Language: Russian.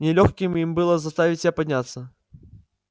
нелёгким им было заставить себя подняться